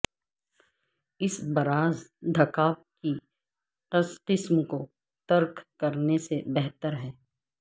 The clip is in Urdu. اس براز دھکا اپ کی قسم کو ترک کرنے سے بہتر ہے